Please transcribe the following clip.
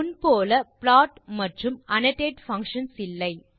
முன் போல் plot மற்றும் annotate அல்ல